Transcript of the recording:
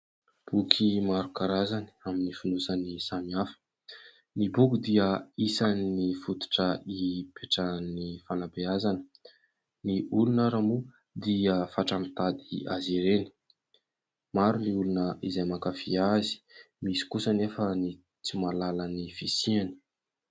Boky maro karazany amin'ny fonosany samihafa. Ny boky dia isan'ny fototra hipetrahan'ny fanabeazana ; ny olona ary moa dia fatra mitady azy ireny. Maro ny olona izay mankafia azy , misy kosa anefa tsy mahalala ny fisiany.